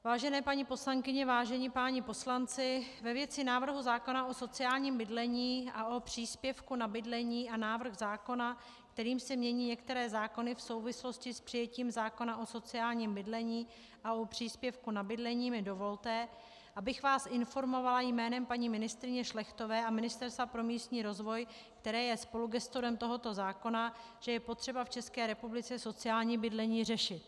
Vážené paní poslankyně, vážení páni poslanci, ve věci návrhu zákona o sociálním bydlení a o příspěvku na bydlení a návrh zákona, kterým se mění některé zákony v souvislosti s přijetím zákona o sociálním bydlení a o příspěvku na bydlení, mi dovolte, abych vás informovala jménem paní ministryně Šlechtové a Ministerstva pro místní rozvoj, které je spolugestorem tohoto zákona, že je potřeba v České republice sociální bydlení řešit.